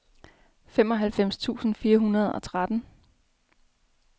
femoghalvfems tusind fire hundrede og tretten